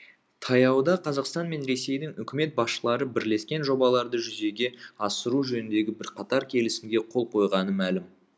таяуда қазақстан мен ресейдің үкімет басшылары бірлескен жобаларды жүзеге асыру жөнінде бірқатар келісімге қол қойғаны мәлім